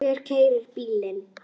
Hver keyrir bílinn?